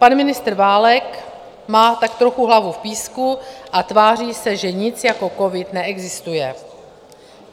Pan ministr Válek má tak trochu hlavu v písku a tváří se, že nic jako covid neexistuje.